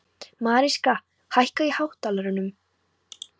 Mariska, hækkaðu í hátalaranum.